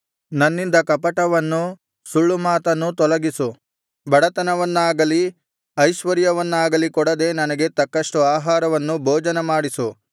ನನ್ನಿಂದ ಕಪಟವನ್ನೂ ಸುಳ್ಳುಮಾತನ್ನೂ ತೊಲಗಿಸು ಬಡತನವನ್ನಾಗಲಿ ಐಶ್ವರ್ಯವನ್ನಾಗಲಿ ಕೊಡದೆ ನನಗೆ ತಕ್ಕಷ್ಟು ಆಹಾರವನ್ನು ಭೋಜನಮಾಡಿಸು